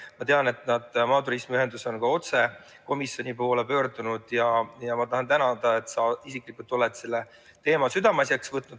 Ma tean, et maaturismi ühendus on ka otse komisjoni poole pöördunud, ja ma tahan sind tänada, et sa isiklikult oled selle teema oma südameasjaks võtnud.